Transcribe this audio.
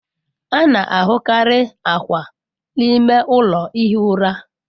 A na-ahụkarị akwa n'ime ụlọ ihi ụra.